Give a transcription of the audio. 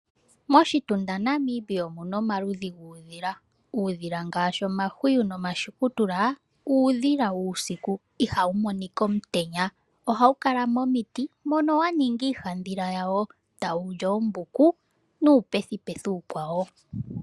Moshitunda na Namibia omuna omaludhi guudhila, Uudhila ngaashi omahwiyu no mashukutula uudhila wuusiku ihawu monika omutenya ohawu kala momiti mono yaninga iihadhila yawo tawuli oombuku nuupethi pethi uukwawo.